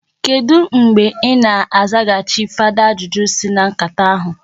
Kedụ mgbe i na-azaghachi fada ajụjụ si na nkata ahụ?